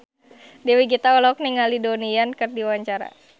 Dewi Gita olohok ningali Donnie Yan keur diwawancara